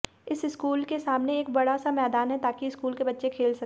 इस स्कूल के सामने एक बड़ा सा मैदान है ताकि स्कूल के बच्चे खेल सकें